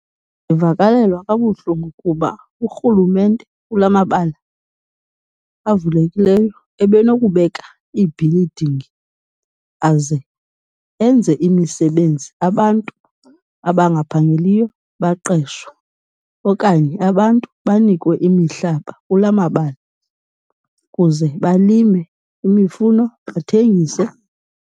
Ndivakalelwa kabuhlungu kuba urhulumente kulaa mabala avulekileyo ebenokubeka iibhilidingi aze enze imisebenzi, abantu abangaphangeliyo baqeshwe. Okanye abantu banikwe imihlaba kulaa mabala kuze balime imifuno bathengise.